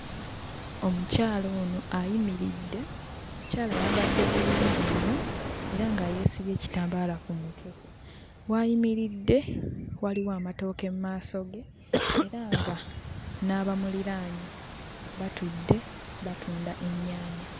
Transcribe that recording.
Omukyala ono ayimiridde, omukyala ayambadde bulungi nnyo era nga yeesibye ekitambaala ku mutwe. W'ayimiridde waliwo amatooke mu maaso ge era nga n'abamuliraanye batudde, batunda ennyaanya.